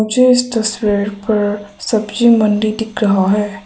मुझे इस तस्वीर पर सब्जी मंडी दिख रहा है।